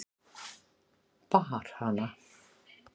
Bar hana